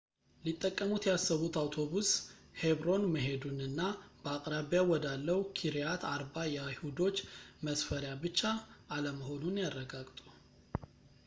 ሊጠቀሙት ያሰቡት አውቶቡስ ሄብሮን መሄዱንና በአቅራቢያው ወዳለው ኪርያት አርባ የአይሁዶች መስፈሪያ ብቻ አለመሆኑን ያረጋግጡ